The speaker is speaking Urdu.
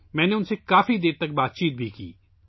میں نے بھی کافی دیر تک ان سے بات کی